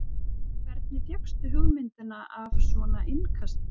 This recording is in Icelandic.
Hvernig fékkstu hugmyndina af svona innkasti?